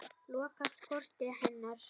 Lokast kortin hennar.